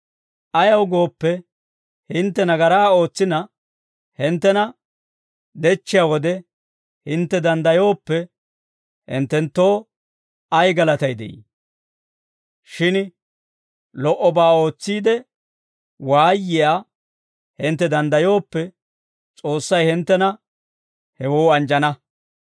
Ayaw gooppe, hintte nagaraa ootsina, hinttena dechchiyaa wode, hintte danddayooppe, hinttenttoo ay galatay de'ii? Shin lo"obaa ootsiide waayiyaa hintte danddayooppe, S'oossay hinttena hewoo anjjana.